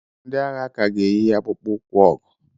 Ndị agha ka ga-eyi akpụkpọ ụkwụ ọgụ.